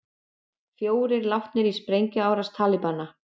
Fjórir látnir í sprengjuárás Talibana